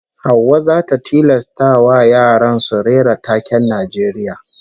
Hauwa zata tilastawa yaran su rera taken Najeriya